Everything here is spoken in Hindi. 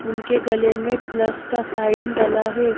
उनके गले में प्लस का साइन डला है।